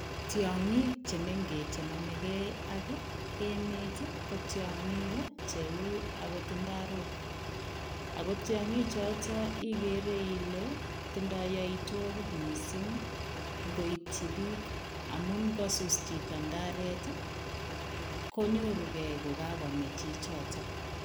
Tiangiik che che mengeech namegei ak ii emeet ii ko tiangiik che uu akoot ndarook ako tiangiik chotoon igere Ile tindaa yaitwagiik missing koityi biik amuun ingosus chitoo ndaret ii konyoor rugei ko kakomei chichitoon.